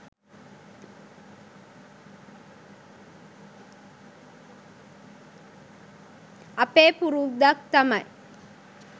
අපේ පුරුද්දක් තමයි